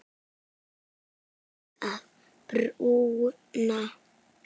Þú veist að bruna